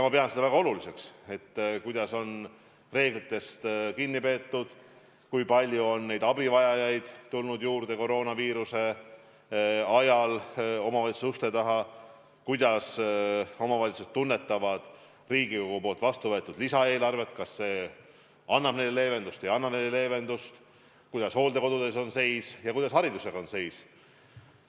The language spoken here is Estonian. Ma pean väga oluliseks, kuidas on reeglitest kinni peetud, kui palju on koroonaviiruse ajal omavalitsuste uste taha abivajajaid juurde tulnud, millisena omavalitsused tunnetavad Riigikogus vastu võetud lisaeelarvet – kas see annab neile leevendust või ei anna neile leevendust –, kuidas hooldekodudes seis on ja kuidas hariduses seis on.